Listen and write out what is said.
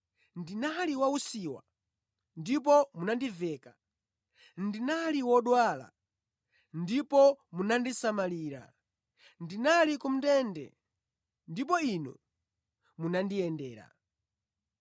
ndinali wausiwa ndipo munandiveka, ndinali wodwala ndipo munandisamalira, ndinali ku ndende ndipo inu munandiyendera.’